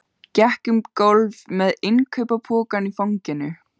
Gekk um gólf með innkaupapokann í fanginu.